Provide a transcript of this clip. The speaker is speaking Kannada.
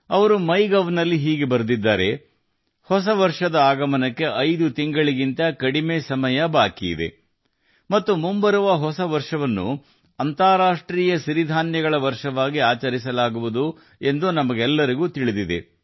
ಅವರು ಮೈಗೌನಲ್ಲಿ ಈ ರೀತಿ ಬರೆದಿದ್ದಾರೆ ಹೊಸ ವರ್ಷವು ಬರಲು 5 ತಿಂಗಳುಗಳಿಗಿಂತ ಕಡಿಮೆಯಿದೆ ಮತ್ತು ಮುಂದಿನ ಹೊಸ ವರ್ಷವನ್ನು ಸಿರಿಧಾನ್ಯಗಳ ಅಂತರರಾಷ್ಟ್ರೀಯ ವರ್ಷವಾಗಿ ಆಚರಿಸಲಾಗುವುದು ಎಂದು ನಮಗೆಲ್ಲರಿಗೂ ತಿಳಿದಿದೆ